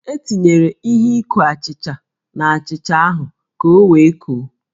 E tinyere ihe ikó achịcha n'achịcha ahụ ka o wee koó